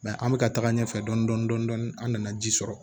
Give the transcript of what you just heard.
an bɛ ka taga ɲɛfɛ dɔni dɔni dɔni an nana ji sɔrɔ